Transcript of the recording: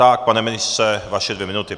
Tak pane ministře, vaše dvě minuty.